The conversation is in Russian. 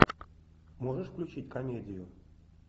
можешь включить комедию